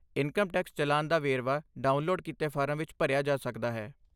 Income tax challan ਦਾ ਵੇਰਵਾ download ਕੀਤੇ ਫਾਰਮ ਵਿੱਚ ਭਰਿਆ ਜਾ ਸਕਦਾ ਹੈ।